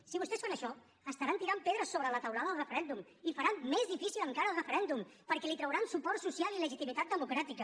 si vostès fan això estaran tirant pedres sobre la teulada del referèndum i faran més difícil encara el referèndum perquè li trauran suport social i legitimitat democràtica